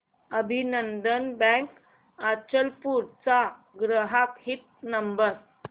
अभिनंदन बँक अचलपूर चा ग्राहक हित नंबर